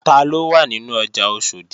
Taló wà nínú ọjà Oṣòdì?